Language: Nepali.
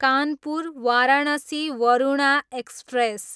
कानपुर, वाराणसी वरुणा एक्सप्रेस